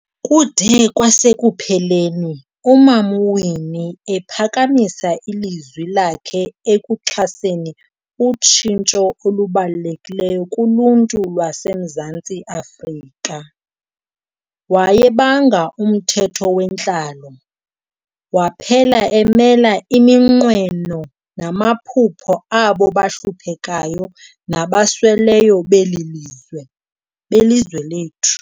Kude kwasekupheleni, uMam'uWinnie ephakamisa ilizwi lakhe ekuxhaseni utshintsho olubalulekileyo kuluntu lwase Mzantsi Afrika. Wayebanga umthetho wentlalo, waphela emela iminqweno namaphupha abo bahluphekayo nabasweleyo belizwe lethu.